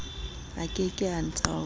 a ke ke a ntaola